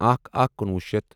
اکھَ اکھ کنُوُہ شیتھ